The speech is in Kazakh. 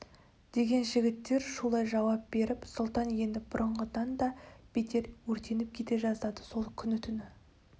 деген жігіттер шулай жауап беріп сұлтан енді бұрынғыдан да бетер өртеніп кете жаздады сол күні түні